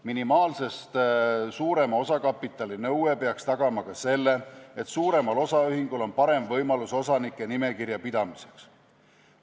Minimaalsest suurema osakapitali nõue peaks tagama ka selle, et suuremal osaühingul on parem võimalus osanike nimekirja pidamiseks.